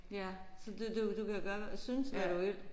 Ja så du du du kan gøre synes hvad du vil